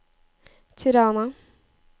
Tirana